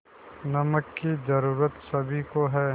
नमक की ज़रूरत सभी को है